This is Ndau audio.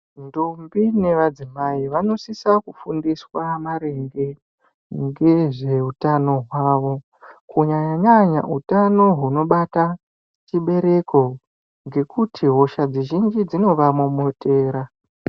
Ndombi nemadzimai vanosise kufundiswa maringe nezvehutano hwawo kunyanyanya utano hunobata chibereko ngekuti hosha dzizhinji dzinovamomotera.